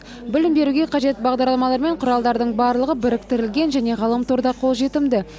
білім беруге қажет бағдарламалар мен құралдардың барлығы біріктірілген және ғаламторда қолжетімді